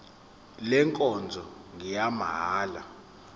le nkonzo ngeyamahala